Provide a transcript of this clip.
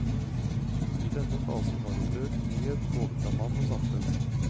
I denne fasen har hun økt frihet både fra mann og samfunn.